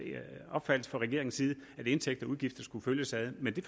opfattelse fra regeringens side at indtægter og udgifter skulle følges ad men